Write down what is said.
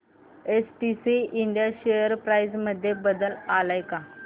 STC India share price मध्ये बदल आलाय का